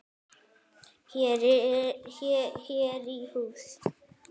Hér í hús.